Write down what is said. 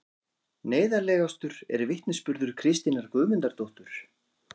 Neyðarlegastur er vitnisburður Kristínar Guðmundardóttur